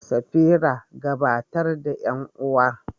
Safira, gabatar da ƴan uwa.